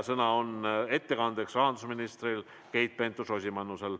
Sõna ettekandeks on rahandusminister Keit Pentus-Rosimannusel.